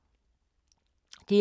DR2